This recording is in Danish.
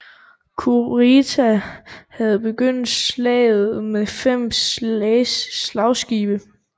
Kurita havde begyndt slaget med fem slagskibe